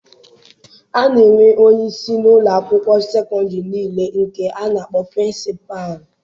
A na-enwe onye isi n'ụlọ akwụkwọ sekọndịrị niile nke a na-akpọ 'Prịnsịpalụ'.